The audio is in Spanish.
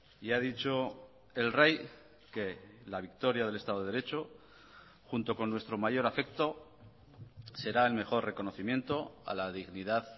y ha dicho el rey que la victoria del estado de derecho junto con nuestro mayor afecto será el mejor reconocimiento a la dignidad